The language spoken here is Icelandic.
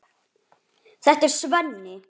Þetta er Svenni.